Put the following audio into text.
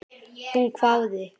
Hún hváði.